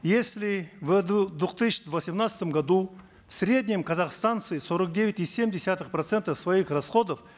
если в две тысячи восемнадцатом году в среднем казахстанцы сорок девять и семь десятых процента своих расходов